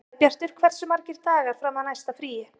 Sæbjartur, hversu margir dagar fram að næsta fríi?